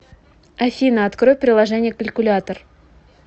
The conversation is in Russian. афина открой приложение калькулятор